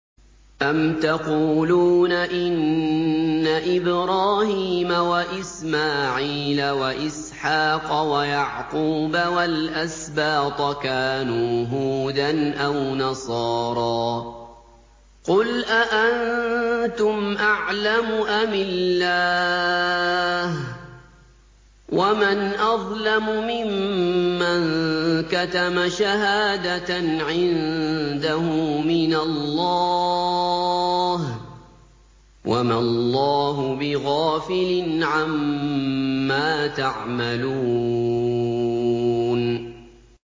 أَمْ تَقُولُونَ إِنَّ إِبْرَاهِيمَ وَإِسْمَاعِيلَ وَإِسْحَاقَ وَيَعْقُوبَ وَالْأَسْبَاطَ كَانُوا هُودًا أَوْ نَصَارَىٰ ۗ قُلْ أَأَنتُمْ أَعْلَمُ أَمِ اللَّهُ ۗ وَمَنْ أَظْلَمُ مِمَّن كَتَمَ شَهَادَةً عِندَهُ مِنَ اللَّهِ ۗ وَمَا اللَّهُ بِغَافِلٍ عَمَّا تَعْمَلُونَ